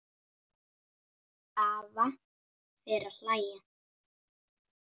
Eva fer að hlæja.